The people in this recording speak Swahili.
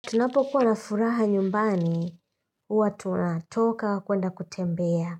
Tunapokuwa na furaha nyumbani, huwa tunatoka kuenda kutembea,